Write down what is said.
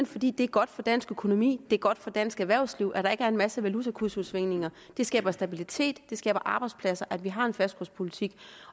fordi det er godt for dansk økonomi det er godt for dansk erhvervsliv at der ikke er en masse valutakursudsving det skaber stabilitet det skaber arbejdspladser at vi har en fastkurspolitik